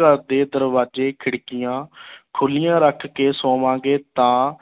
ਘਰ ਦੇ ਦਰਵਾਜ਼ੇ ਖਿੜਕੀਆਂ ਖੁੱਲੀਆਂ ਰੱਖ ਕੇ ਸੋਵਾਂਗੇ ਤਾਂ